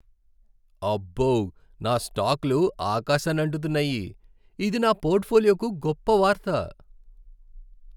అబ్బో, నా స్టాక్లు ఆకాశాన్నంటుతున్నాయి! ఇది నా పోర్ట్ఫోలియోకు గొప్ప వార్త.